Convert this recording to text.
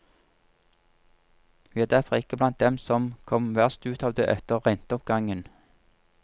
Vi er derfor ikke blant dem som kom verst ut av det etter renteoppgangen.